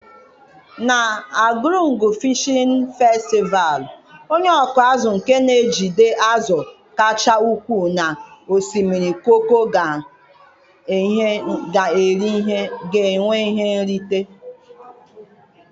Na Argungu Fịshin Festịval, onye ọkụ azụ nke na-ejide azụ kacha ukwuu na osimiri Koko ga en ihe nrite.